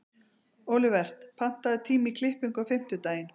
Olivert, pantaðu tíma í klippingu á fimmtudaginn.